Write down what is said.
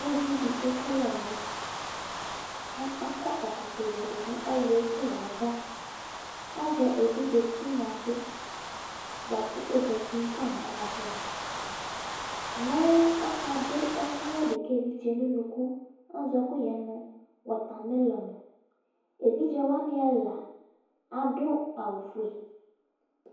Uvi dɩ ekele ɛlʋ ,kʋ akɔ ɛkɔtɔ yǝ nʋ ɛlʋ ekele avaAzɛ evidze tinya bɩ bʋa kʋ ozati fa nʋ anatsɛ avaMɛ ɔka dʋ ɛkʋyɛ dɩ ka evidze nʋ unuku Azɔ ɛkʋyɛ nʋ mɔtamelɔnEvidze wanɩ ɛla adʋ awʋ fue